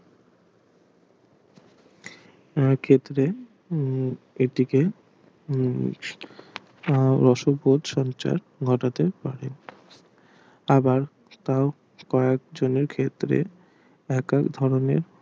সেক্ষেত্রে এটিকে উম রসবোধ সঞ্চার ঘটাতে পারে আবার তাও কয়েকজনের ক্ষেত্রে এক এক ধরনের